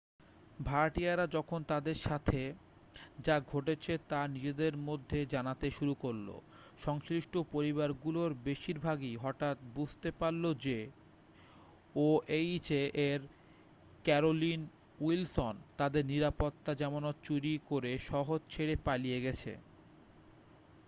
ভাড়াটিয়ারা যখন তাদের সাথে যা ঘটেছে তা নিজেদের মধ্যে জানাতে শুরু করল সংশ্লিষ্ঠ পরিবারগুলোর বেশিরভাগই হঠাৎ বুঝতে পারল যে ওএইচএ এর ক্যারোলিন উইলসন তাদের নিরাপত্তা জামানত চুরি করে শহর ছেড়ে পালিয়ে গেছে